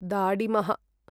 दाडिमः